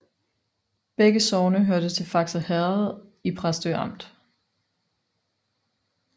Begge sogne hørte til Fakse Herred i Præstø Amt